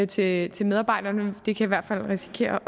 til til medarbejderne det kan i hvert fald risikere